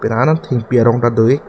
la an thengpi arong ta dopik.